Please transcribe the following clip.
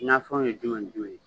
Nafɛnw ye jumɛn ni jumɛn ye ?